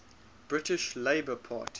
british labour party